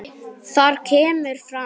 Þar kemur fram